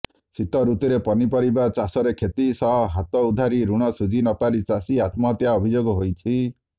ଶୀତ ଋତୁରେ ପନିପରିବା ଚାଷରେ କ୍ଷତି ସହ ହାତ ଉଧାରି ଋଣ ଶୁଝିନପାରି ଚାଷୀ ଆତ୍ମହତ୍ୟା ଅଭିଯୋଗ ହୋଇଛି